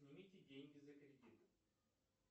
снимите деньги за кредит